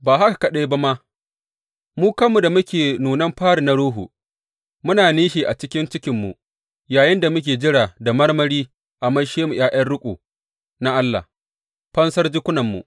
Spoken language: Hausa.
Ba haka kaɗai ba ma, mu kanmu da muke da nunan fari na Ruhu, muna nishi a ciki cikinmu yayinda muke jira da marmari a maishe mu ’ya’yan riƙo na Allah, fansar jikunanmu.